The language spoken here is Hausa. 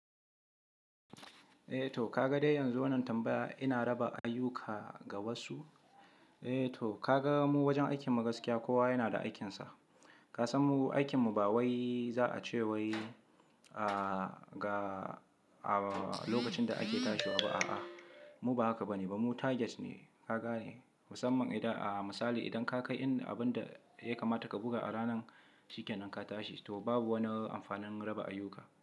Eh to kaga dai yanzu wannan tambaya ina raba ayuka ga wasu? Eh to kaga mu wajen aikin magaskiya kowa yana da aikinsa. Ka san mu aikin mu ba wai za a ce wai, ah ga a lokacin da ake tashiwa ba a'a. Mu ba haka ba ne ba mu targets ne, kaga ne? Musamman idan a misali idan ka kai abin da ya kamata ka buga a ranan cikin nan ka tashi to babu wani amfanin raba ayuka.